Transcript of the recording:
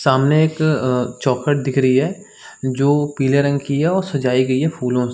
सामने एक अ चौखट दिख रही है जो पीले रंग की है और सजाई गई है फ़ूलो --